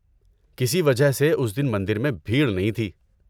کسی وجہ سے اس دن مندر میں بھیڑ نہیں تھی۔